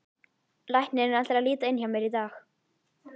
Læknirinn ætlar að líta inn hjá mér í dag.